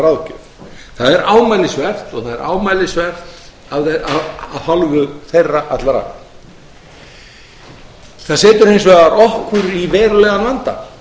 ráðgjöf það er ámælisvert af hálfu þeirra allra það setur okkur hins vegar í verulegan vanda